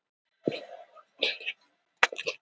Konungur kinkaði kolli vingjarnlega.